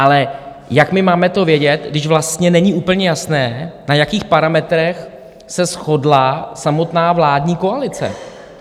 Ale jak my to máme vědět, když vlastně není úplně jasné, na jakých parametrech se shodla samotná vládní koalice?